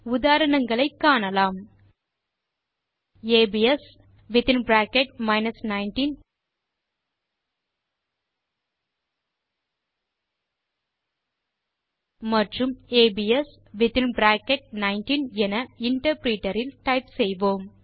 உதாரணங்களை காணலாம் ஏபிஎஸ் மற்றும் ஏபிஎஸ் என இன்டர்பிரிட்டர் இல் டைப் செய்வோம்